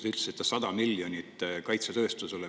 Te ütlesite, et 100 miljonit eurot on kaitsetööstusele.